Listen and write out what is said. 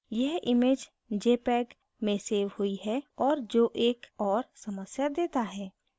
यह image jpeg में save हुई है और जो एक और समस्या देता है